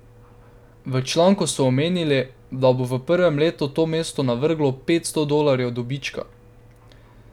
V članku so omenili, da bo v prvem letu to mestu navrglo petsto dolarjev dobička.